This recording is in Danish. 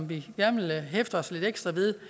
vi gerne hæfte os lidt ekstra ved